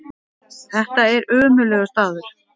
Þetta er ömurlegur staður.